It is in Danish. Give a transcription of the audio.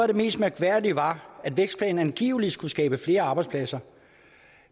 det mest mærkværdige var at vækstplanen angiveligt skulle skabe flere arbejdspladser